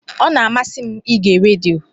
Ọ na-amasị m ige redio.